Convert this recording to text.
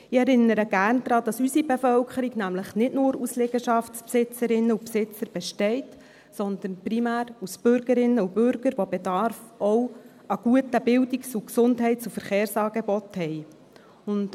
Ich erinnere gerne daran, dass unsere Bevölkerung nämlich nicht nur aus Liegenschaftsbesitzerinnen und Liegenschaftsbesitzern besteht, sondern primär aus Bürgerinnen und Bürgern, die auch Bedarf an guten Bildungs-, Gesundheits- und Verkehrsangeboten haben.